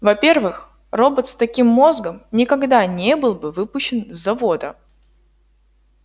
во-первых робот с таким мозгом никогда не был бы выпущен с завода